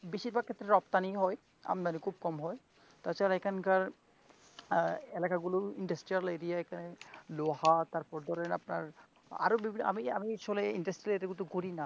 বেশিরভাগ ক্ষেত্রে রপ্তানি হয় আমদানী খুব কম হয়, তাছাড়া এখানকার এলাকাগুলো industrial area লোহা তারপর ধরেন আরও আপনার আমি আমি শুনেছি industrial যেহেতু করিনা.